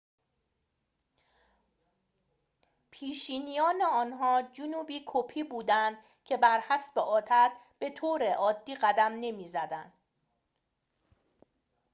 پیشینیان آنها جنوبی‌کپی بودند که بر حسب عادت به‌طور عادی قدم نمی‌زدند